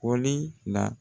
Kɔli la.